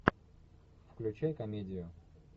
включай комедию